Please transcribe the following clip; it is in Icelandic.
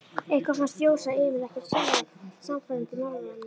Eitthvað fannst Jósa Emil ekkert sérlega sannfærandi í málrómnum.